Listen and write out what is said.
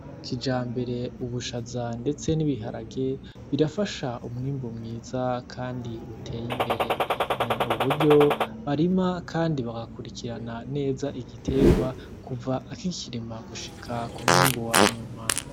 Akija mbere ubushaza, ndetse n'ibiharage birafasha umwimbu mwiza, kandi uteye imbere ni uburyo barima, kandi bagakurikirana neza igiterwa kuva akikirima gushika ku mwimbu wanyuma.